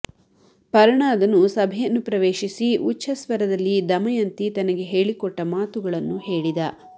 ಪರ್ಣಾದನು ಸಭೆಯನ್ನು ಪ್ರವೇಶಿಸಿ ಉಚ್ಛ ಸ್ವರದಲ್ಲಿ ದಮಯಂತಿ ತನಗೆ ಹೇಳಿಕೊಟ್ಟ ಮಾತುಗಳನ್ನು ಹೇಳಿದ